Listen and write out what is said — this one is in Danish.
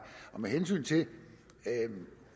med hensyn til